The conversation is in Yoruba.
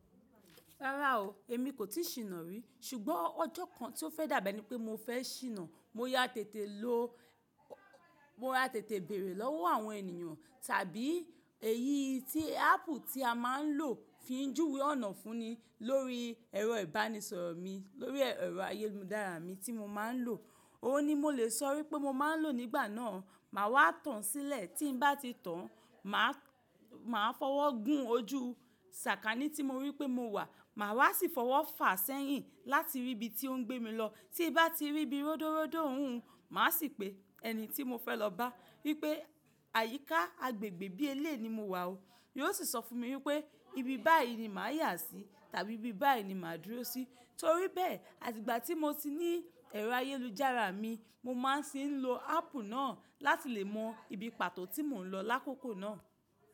Rárá o, èmi kò tíì ṣìnà rí. Ṣùgbọ́n ọjọ́ kan tí ó fẹ́ dàgbà ni pé mo fẹ́ ṣìnà, mo ya tètè béèrè lọ́wọ́ àwọn ènìyàn tàbí èyí tí áàpù tí a máa ń lò fi ń júwe ọ̀nà fún ni lórí ẹ̀rọ ìbánisọ̀rọ̀ mi, lórí ẹ̀rọ ayélujára mi tí mo máa ń lò. Òun ni mo lè sọ wípé mo máa ń lò nígbà náà. Màá wá tàn sílẹ̀ tí bá ti tàn, maa màá fọwọ́ gún ojú ṣàkanni tí mo rí pé mo wà, màá wa sì fọwọ́ fà sẹ́yìn láti rí ibi tí ó ń gbé mi lọ. Tí bá ti ríbi ródóródó òún, màá sì pe ẹni tí mo fẹ́ lọ bá wípé àyíká agbègbè bí eléyi ni mo wà o. Yóò sì sọ fún mi wípé ibi báyìí ni màá yà sí tàbí ibi báyìí ni màá dúró sí. Torí bẹ́ẹ̀, àti ìgbà tí mo ti ní ẹ̀rọ ayélujára mi, mo máa ń ṣì ń lo áàpù náà láti lè mọ ibi pàtó tí mò ń lọ lákòókò náà.